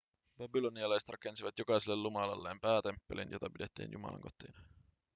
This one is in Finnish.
babylonialaiset rakensivat jokaiselle jumalalleen päätemppelin jota pidettiin jumalan kotina